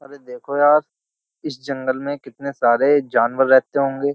देखो यार इस जंगल में कितने सारे जानवर रहते होंगे।